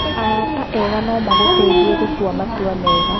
Arata eega no magũteithie gũtua matua mega.